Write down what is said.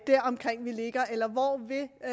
jeg